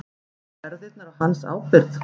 Voru erfðirnar á hans ábyrgð?